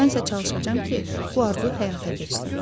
Mən isə çalışacam ki, bu arzu həyata keçsin.